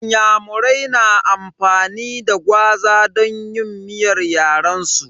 Inyamurai na amfani da gwaza don yin miyar yaren su.